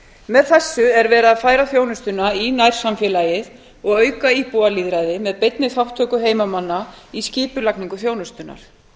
með þessu er verið að færa þjónustuna í nærsamfélagið og auka íbúalýðræði með beinni þátttöku heimamanna í skipulagningu þjónustunnar